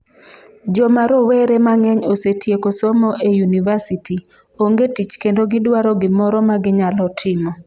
Joma rowere mang'eny osetieko somo e yunivasiti, onge tich kendo gidwaro gimoro ma ginyalo timo.